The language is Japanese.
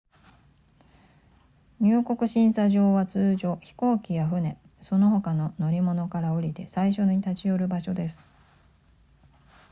入国審査場は通常飛行機や船その他の乗り物から降りて最初に立ち寄る場所です